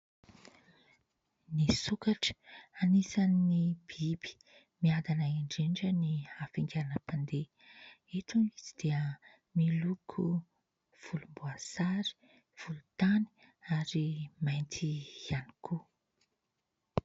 Ny sokatra, anisan'ny biby miadana indrindra ny hafaingananam-pandeha. Eto izy dia miloko volomboasary, volontany ary mainty ihany koa.